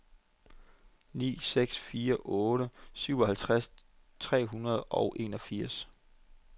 ni seks fire otte syvoghalvtreds tre hundrede og enogfirs